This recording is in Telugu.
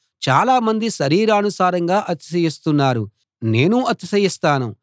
చాలామంది శరీరానుసారంగా అతిశయిస్తున్నారు నేనూ అతిశయిస్తాను